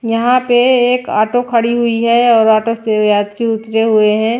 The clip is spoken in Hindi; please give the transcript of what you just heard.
यहां पे एक ऑटो खड़ी हुई है और ऑटो से यात्री उतरे हुए हैं।